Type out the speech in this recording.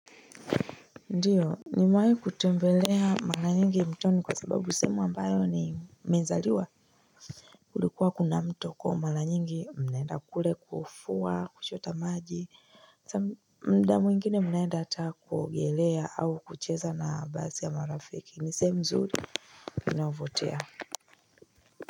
Ndiyo, nimewahi kutembelea mara nyingi mtoni kwa sababu sehemu ambayo nimezaliwa Kulikuwa kuna mto kwahiyo mara nyingi mnaenda kule kufua kuchota maji mda mwingine mnaenda hata kuogelea au kucheza na baadhi ya marafiki ni sehemu mzuri inayovutia.